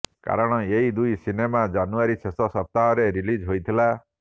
କାରଣ ଏଦୁଇ ସିନେମା ଜାନୁଆରି ଶେଷ ସପ୍ତାହରେ ରିଲିଜ୍ ହୋଇଥିଲା